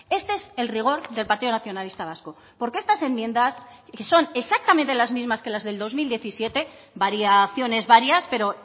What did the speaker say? este es el rigor del partido nacionalista vasco porque estas enmiendas que son exactamente las mismas que las del dos mil diecisiete variaciones varias pero